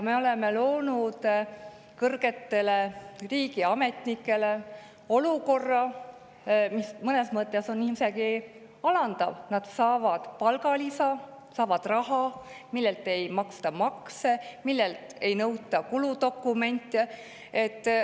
Me oleme loonud kõrgetele riigiametnikele olukorra, mis on mõnes mõttes isegi alandav – nad saavad palgalisa, saavad raha, millelt ei maksta makse, mille kohta ei nõuta kuludokumente.